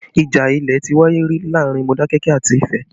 Ìjà ilẹ̀ ti wáyé rí láàrin Modakeke àti Ifẹ